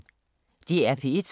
DR P1